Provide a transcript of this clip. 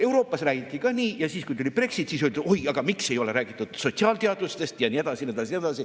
Euroopas räägiti ka nii ja siis kui tuli Brexit, siis öeldi, oi, aga miks ei ole räägitud sotsiaalteadustest ja nii edasi.